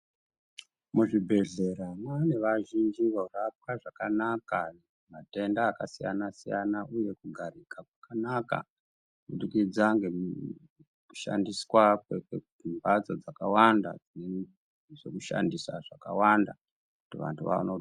Muzvibhedhlera mane vazhinji vorapwa zvakanaka matenda akasiyana-siyana, uye kugarika kwakanaka kubudikidza nekushandiswa kwemhatso dzakawanda nezvekushandisa zvakaanda kuti vantu vaone.